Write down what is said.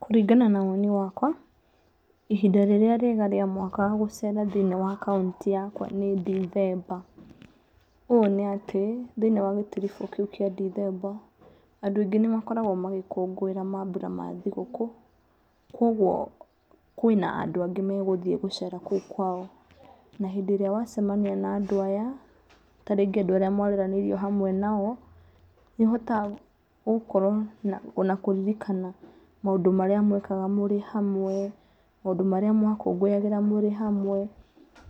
Kũringana na woni wakwa ihinda rĩrĩa riega rĩa mwaka gũcera thĩ~inĩ wa kaunti yakwa nĩ ndithemba. Ũũ nĩ atĩ thĩ~inĩ wa gĩtiribu kĩu kia ndithemba andũ aingĩ nĩ makoragwo magĩkũngũĩra mambura ma thigũkũ. Kogwo kwĩ na andũ angĩ magũthiĩ gũcera kũu kwao. Na hĩndĩ ĩrĩa wacemania na andũ aya tarĩngĩ andũ arĩa mwareranĩirio hamwe nao nĩ ũhotaga gũkorwo na kũririkana maũndũ marĩa mwekaga mũrĩ hamwe, maũndũ marĩa mwa kũngũyagĩra mũrĩ hamwe,